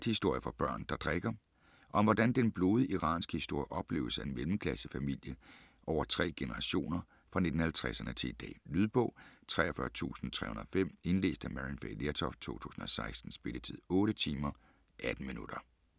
Bakhtiari, Marjaneh: Godnathistorier for børn der drikker Om hvordan den blodige iranske historie opleves af en mellemklassefamilie over tre generationer fra 1950'erne til i dag. Lydbog 43305 Indlæst af Maryann Fay Lertoft, 2016. Spilletid: 8 timer, 18 minutter.